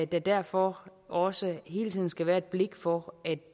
der derfor også hele tiden skal være et blik for at